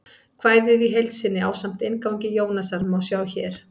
Kvæðið í heild sinni, ásamt inngangi Jónasar, má sjá hér.